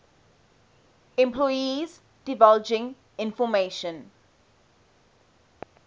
employees divulging information